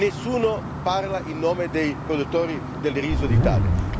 Nessuno parla in nome dei produttori del riso d'Italia.